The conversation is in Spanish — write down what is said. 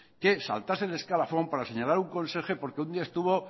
que saltarse el escalafón para señalar a un conserje porque un día estuvo